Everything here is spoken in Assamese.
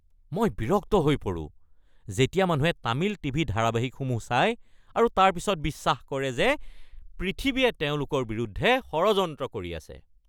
মই বিৰক্ত হৈ পৰো যেতিয়া মানুহে তামিল টিভি ধাৰাবাহিকসমূহ চাই আৰু তাৰ পিছত বিশ্বাস কৰে যে পৃথিৱীয়ে তেওঁলোকৰ বিৰুদ্ধে ষড়যন্ত্ৰ কৰি আছে।